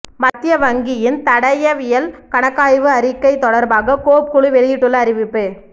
மத்திய வங்கியின் தடயவியல் கணக்காய்வு அறிக்கை தொடர்பாக கோப் குழு வெளியிட்டுள்ள அறிவிப்பு